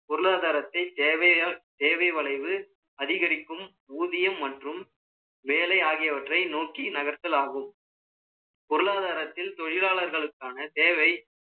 பொருளாதாரத்தை சேவை வளைவு அதிகரிக்கும், ஊதியம் மற்றும் வேலை ஆகியவற்றை நோக்கி நகர்த்தல் ஆகும் பொருளாதாரத்தில், தொழிலாளர்களுக்கான தேவை